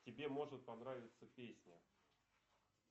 тебе может понравится песня